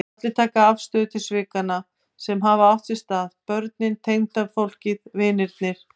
Allir taka afstöðu til svikanna sem hafa átt sér stað, börnin, tengdafólkið, vinirnir.